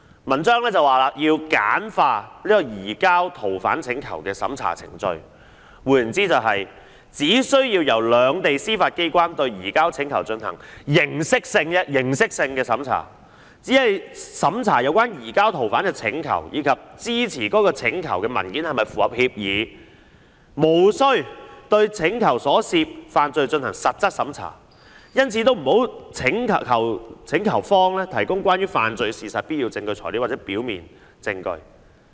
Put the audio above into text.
"文章又指要簡化移交逃犯請求的審查程序，換言之，即是"只需要由兩地司法機關對移交請求進行形式性審查，即只審查有關移交逃犯請求以及支持該請求文件是否符合協議，無需對請求所涉犯罪進行實質審查，因此也不要求請求方提供關於犯罪事實的必要證據材料或表面證據。